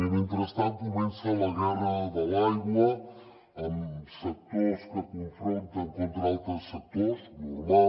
i mentrestant comença la guerra de l’aigua amb sectors que es confronten contra altres sectors normal